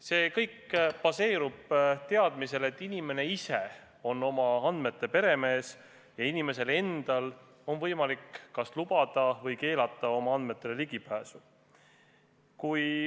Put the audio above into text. See kõik baseerub teadmisel, et inimene ise on oma andmete peremees ja inimesel endal on võimalik kas lubada või keelata oma andmetele ligipääs.